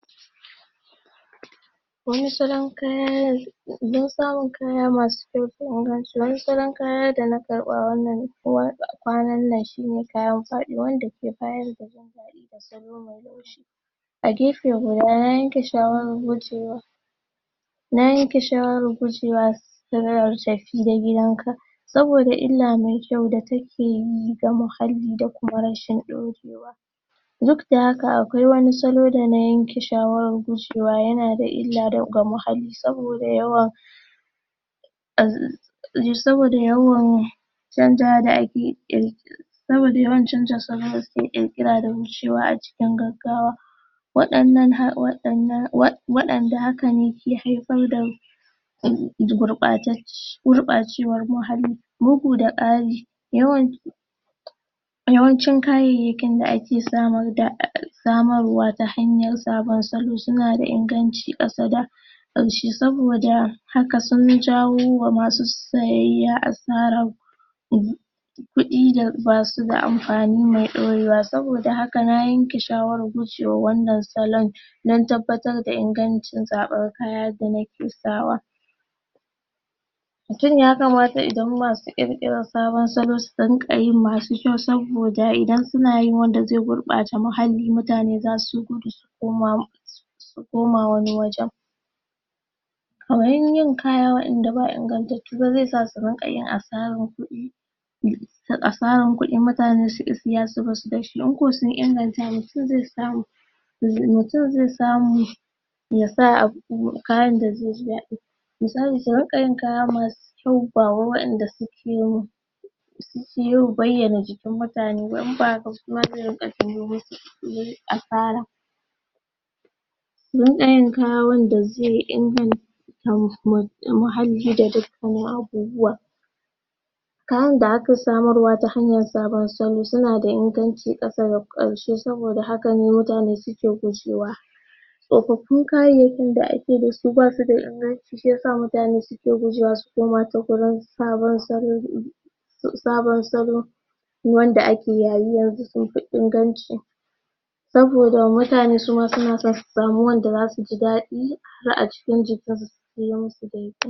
don samun kaya masu kyau don samu kaya masu kyau ingansu wasu kaya dana a gefe guda na yanke shawara gujewa na yanke shawarar gujewa da wayar tafida gidanka saboda illa ne kyau da takeyi ga muhalli da rashin dorewa duk da haka akwai wani salo dana yanke shawara gushewa yana illa wa muhalli saboda yawa saboda yawan chanjawa da akeyi saman chan dinne suke kirs swuceda gaggawa wadanan ha wadannan wadaannan wanda harfi sun dawo da gurabtaccen gurba cewn muhalli bugu da kari wayan yawaanci kayayyakinda ake samu da samarwa ta hanyar salo sunada inganci kasada hakan sun jawo wa masu sayayya asara kudi da basuda amfani me dorewa sabida haka na yanke shawarar gujewa a wannan salon don tabbacin ingancin zaben kaya danake sawa mutum ya kamata idan masu iri sabon salo su dingayi masu kyau saboda idan sunayi wanda zai gurbata muhalli mutane zasu gudu sukoma su koma wani wajan agarin yin kara wayanda ba ingantattuba ze sasu ringa asarar kudi ga asarar kudi mutane sunki saya su barshi yanzu mutum ze samu yasa abu kayanda zeji dadi misali su ringa yin kaya masu kyauba ba wadanda sukemu su sayo su bayyana jikin mutanewaiinba su dinga yin kaya wadanda ze inganta kayanda akasamu ta hanyar sabon salo yanada mahimmanci yi kasada karshe saboda hakane mutane suke ta gujewa tsofofin kayayyakin da akedasu basuda inganci shiyasa mutane suke gujewa su koma ta wurinsu sabon salo ne sabon salo wanda ake yayi yanzu sunfi inganci saboda mutane ma suna san su samu wanda zasu ji dadi